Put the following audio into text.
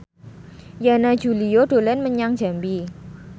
Yana Julio dolan menyang Jambi